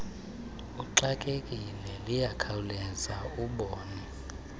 uxakekile liyakhawuleza ubone